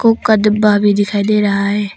डब्बा भी दिखाई दे रहा है।